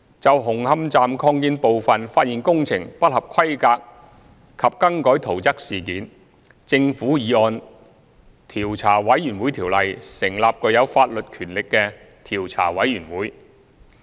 就紅磡站擴建部分發現工程不合規格及更改圖則事件，政府已按《調查委員會條例》成立具有法律權力的調查委員會。